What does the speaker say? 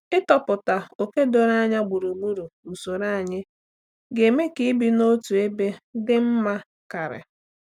Ịtọpụta oke doro anya gburugburu usoro anyị ga-eme ka ibi n'otu ebe dị mma karị.